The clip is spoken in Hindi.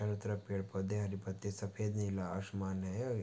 चारो तरफ पेड़ पौधे हरी पत्ते सफ़ेद नीला आसमान है। --